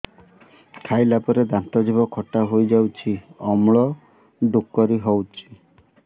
ଖାଇଲା ପରେ ଦାନ୍ତ ଜିଭ ଖଟା ହେଇଯାଉଛି ଅମ୍ଳ ଡ଼ୁକରି ହଉଛି